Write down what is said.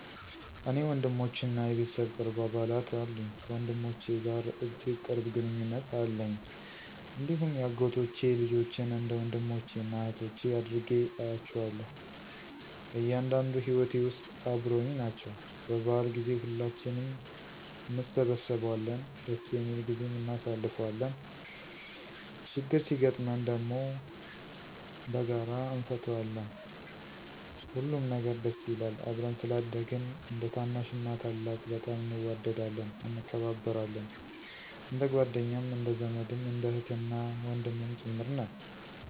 እኔ ወንድሞችና የቤተሰብ ቅርብ አባላት አሉኝ። ከወንድሞቼ ጋር እጅግ ቅርብ ግንኙነት አለኝ፣ እንዲሁም የአጎቶቼ ልጆችን እንደ ወንድሞቼና እኅቶቼ አድርጌ እያቸዋለሁ። በእያንዳንዱ ሂወቴ ውስጥ አበረውኝ ናቸው። በበዓል ጊዜ ሁላችንም እንሰበሰባለን ደስ የሚል ጊዜም እናሳልፋለን። ችግር ሲገጥመን ደም በጋራ እነፈታዋለን፣ ሁሉም ነገር ደስ ይላል። አብረን ስላደግን እንደታናሽና ታላቅ በጣም እንዋደዳለን፣ እንከባበራለን። እንደጓደኛም እንደዘመድም እንደ እህትና ወንድምም ጭምር ነን።